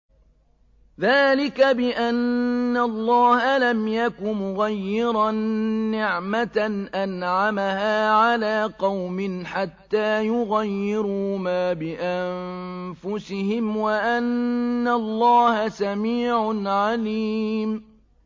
ذَٰلِكَ بِأَنَّ اللَّهَ لَمْ يَكُ مُغَيِّرًا نِّعْمَةً أَنْعَمَهَا عَلَىٰ قَوْمٍ حَتَّىٰ يُغَيِّرُوا مَا بِأَنفُسِهِمْ ۙ وَأَنَّ اللَّهَ سَمِيعٌ عَلِيمٌ